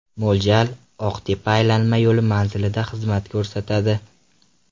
Mo‘ljal: Oq-tepa aylanma yo‘li manzilida xizmat ko‘rsatadi.